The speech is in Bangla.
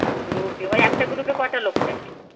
group এ. ওই একটা group এ কটা লোক থাকে?